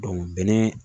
bɛnɛ